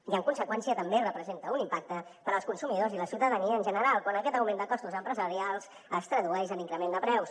i en conseqüència també representa un impacte per als consumidors i la ciutadania en general quan aquest augment de costos empresarials es tradueix en increment de preus